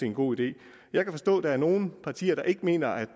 en god idé jeg kan forstå at der er nogle partier der ikke mener at